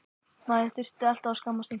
Maður þurfti alltaf að skammast sín.